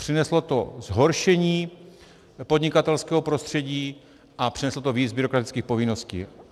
Přineslo to zhoršení podnikatelského prostředí a přineslo to víc byrokratických povinností.